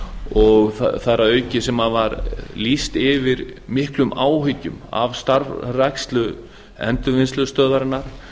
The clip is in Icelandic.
og þar að auki sem var lýst yfir miklum áhyggjum af starfrækslu endurvinnslustöðvarinnar